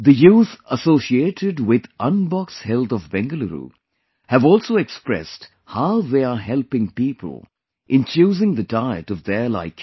The youth associated with Unbox Health of Bengaluru have also expressed how they are helping people in choosing the diet of their liking